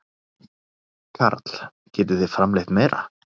Karl: Getið þið framleitt meira?